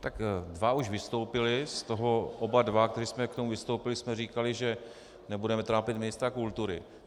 Tak dva už vystoupili, z toho oba dva, kteří jsme k tomu vystoupili, jsme říkali, že nebudeme trápit ministra kultury.